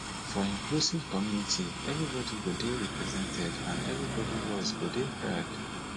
for inclusive community everybody go dey represented and everybody voice go dey heared